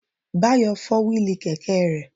Báyọ̀ fọ́ wíìlì kẹ̀kẹ́ rẹ̀